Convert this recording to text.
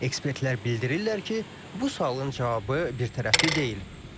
Ekspertlər bildirirlər ki, bu sualın cavabı birtərəfli deyil.